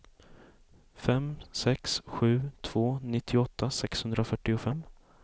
fem sex sju två nittioåtta sexhundrafyrtiofem